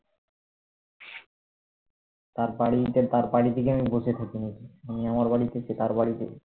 তার বাড়িতে তার বাড়িতে কি আমি বসে থাকি নাকি আমি আমার বাড়িতে সে তার বাড়িতে